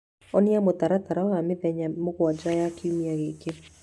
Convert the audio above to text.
onania mũtaratara wa mĩthenya mũgwanja ya kiumia gĩkĩ